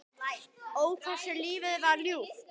Ó, hversu lífið var ljúft.